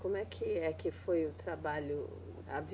Como é que é, que foi o trabalho?